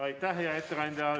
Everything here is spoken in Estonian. Aitäh, hea ettekandja!